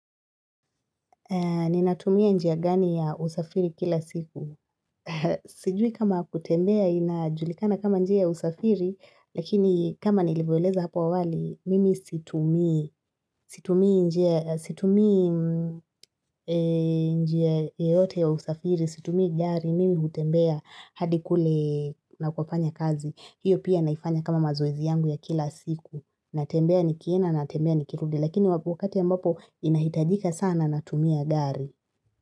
Ni natumia njia gani ya usafiri kila siku. Sijui kama kutembea inajulikana kama njia usafiri lakini kama nilivyoeleza hapa awali mimi situmii situmii njia situmii njia yoyote ya usafiri situmii gari mimi hutembea hadi kule nakofanya kazi. Hiyo pia naifanya kama mazoezi yangu ya kila siku natembea nikienda, natembea nikirudi Lakini wakati ambapo inahitajika sana natumia gari.